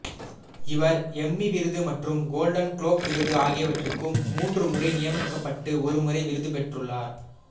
இவர் எம்மி விருது மற்றும் கோல்டன் குளோப் விருது ஆகியவற்றுக்கு மூன்று முறை நியமிக்கப்பட்டு ஒருமுறை விருது பெற்றுள்ளார்